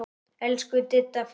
Elsku Didda frænka.